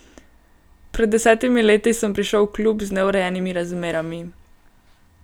Pred desetimi leti sem prišel v klub z neurejenimi razmerami.